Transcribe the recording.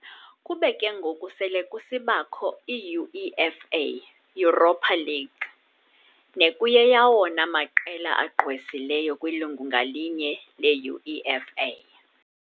kube ke ngoku sele kusibakho iUEFA "Europa League" nekuyeyawona maqela agqwesileyo kwilungu ngalinye leUEFA.